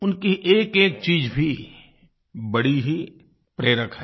उनकी एकएक चीज़ भी बड़ी ही प्रेरक है